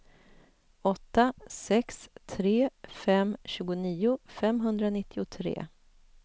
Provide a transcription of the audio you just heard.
åtta sex tre fem tjugonio femhundranittiotre